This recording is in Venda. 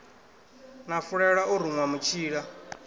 na fulela o ruṅwa mutshila